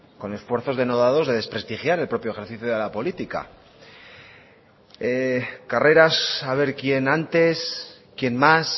con esfuerzos denodados de desprestigiar el propio ejercicio de la política carreras a ver quién antes quién más